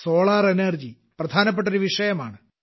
solar energy പ്രധാനപ്പെട്ടൊരു വിഷയമാണ്